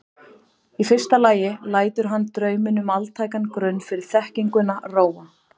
Í fyrsta lagi lætur hann drauminn um altækan grunn fyrir þekkinguna róa.